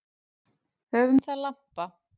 Höfum það lampa.